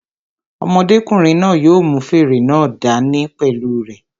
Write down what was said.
Ọmọdékùnrin náà yóò mú fèrè náà dá ní pẹ̀lú u rẹ̀